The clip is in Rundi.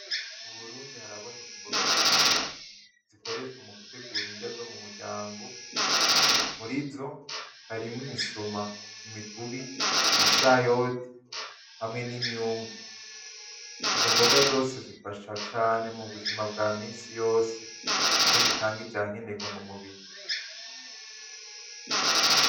Mu burundi haraboneka imboga zitandukanye zikoreshwa mu gutegura indya zo mu muryango murizo harimwo imisoma, imikubi, ibishayote hamwe n'imyungu izo mboga zose zifasha cane mu buzima bwa minsi yose kuko zitanga ivyankenerwa mu mubiri.